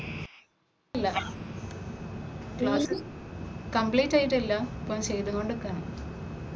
കഴിഞ്ഞിട്ടില്ല class complete ആയിട്ടില്ല ഇപ്പോ ചെയ്തു കൊണ്ട് നില്ക്കയാണ്.